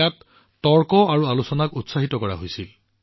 ইয়াত মুক্ত বিতৰ্ক আৰু আলোচনাক উৎসাহিত কৰা হৈছিল